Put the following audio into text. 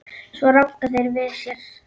Svo ranka þeir við sér.